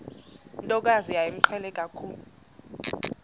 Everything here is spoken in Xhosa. ntokazi yayimqhele kakhulu